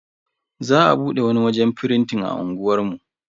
Za a bude wani wajen firintin a unguwar mu.